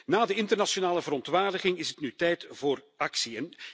Na de internationale verontwaardiging is het nu tijd voor actie.